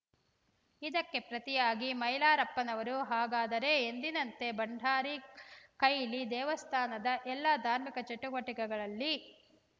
ಇದಕ್ಕೆ ಪ್ರತಿಯಾಗಿ ಮೈಲಾರಪ್ಪನವರು ಹಾಗಾದರೆ ಎಂದಿನಂತೆ ಭಂಡಾರಿ ಕೈಲಿ ದೇವಸ್ಥಾನದ ಎಲ್ಲ ಧಾರ್ಮಿಕ ಚಟುವಟಿಕೆಗಳಲ್ಲಿ